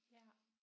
Ja